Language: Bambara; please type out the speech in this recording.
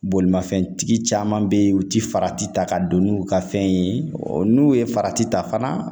Bolimafɛntigi caman be ye u ti farati ta ka don n'u ka fɛn ye, n'u ye farati ta fana